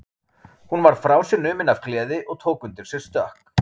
Hún varð frá sér numin af gleði og tók undir sig stökk.